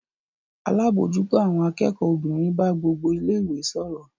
Alábòójútó àwọn akẹ́kọ̀ọ́ obìnrin bá gbogbo ilé-ìwé sọ̀rọ̀.